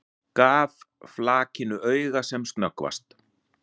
Gaf flakinu auga sem snöggvast.